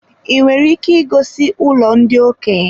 I nwere ike igosi ụlọ ndị okenye?